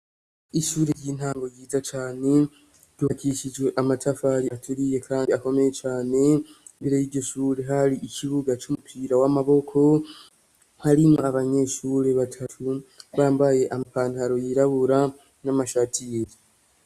Ishure ry'intango ryiza cane ryubakishijwe amatafari aturiye kandi akomeye cane, imbere y'iryo shure hari ikibuga c'umupira w'amaboko, hari abanyeshure batatu bambaye ama pantaro yirabura n'amashati yera.